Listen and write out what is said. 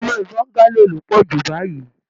Ilé bongalo lo poju báyìí.